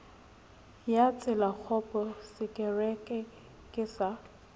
ya tselakgopo sekere ke sa